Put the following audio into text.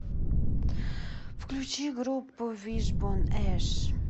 включи группу вишбон эш